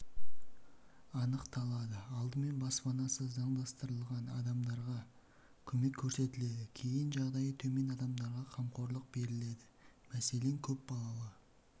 анықталады алдымен баспанасы заңдастырылған адамдарға көмек көрсетіледі кейін жағдайы төмен адамдарға қамқорлық беріледі мәселен көпбалалы